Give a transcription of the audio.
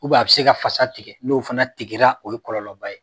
U b'a bɛ se ka fasa tigɛ. N'o fana tigɛra, o ye kɔlɔlɔba ye.